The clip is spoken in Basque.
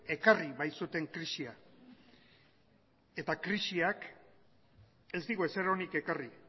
ekarri baitzuten krisia eta krisiak ez digu ezer onik ekarri